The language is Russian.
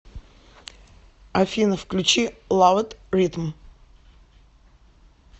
афина включи лав ит ритм